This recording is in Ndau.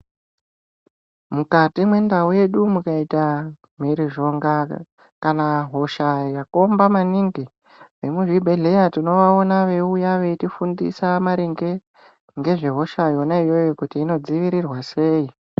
Mukati mwendau yedu mukaita, mhirizhonga kana hosha yakomba maningi, vemuzvibhedhleya tinovaona veiuya veitifundisa maringe ngezvehosha yona iyoyo kuti inodziivirwa sei.